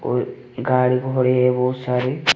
गाड़ी घोड़े बहुत सारे--